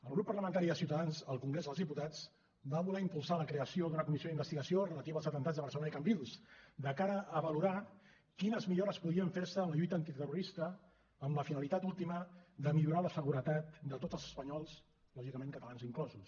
el grup parlamentari de ciutadans al congrés dels diputats va voler impulsar la creació d’una comissió d’investigació relativa als atemptats de barcelona i cambrils de cara a valorar quines millores podien fer se en la lluita antiterrorista amb la finalitat última de millorar la seguretat de tots els espanyols lògicament catalans inclosos